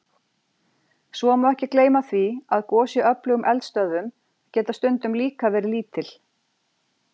Svo má ekki gleyma því að gos í öflugum eldstöðvum geta stundum líka verið lítil.